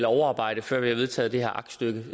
overarbejde før vi har vedtaget det her aktstykke